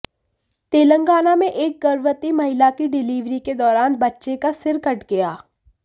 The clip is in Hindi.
तेलंगाना में एक गर्भवती महिला की डिलीवरी के दौरान बच्चे का सिर कट गया